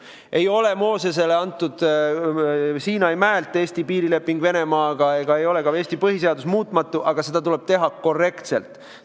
Ei ole Eesti piirileping Venemaaga antud Moosesele Siinai mäelt, Eesti põhiseadus ei ole muutmatu, aga seda muutmist tuleb teha korrektselt.